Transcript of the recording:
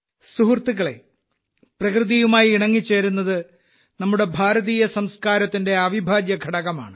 സുഹൃത്തുക്കളേ പ്രകൃതിയുമായി ഇണങ്ങിച്ചേരുന്നത് നമ്മുടെ ഭാരതീയ സംസ്കാരത്തിന്റെ അവിഭാജ്യഘടകമാണ്